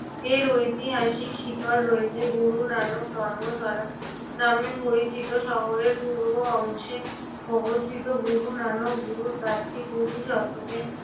এর ঐতিহাসিক শিকড় রয়েছে গুরু নানক ধর্মশলা নামে পরিচিত শহরের পূর্ব অংশে অবস্থিত গুরু নানক গুরুদ্বারটি কুড়ি শতকে